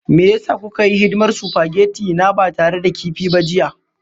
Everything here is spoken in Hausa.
Me ya sa kuka yi hidimar supageti na ba tare da kifi ba jiya?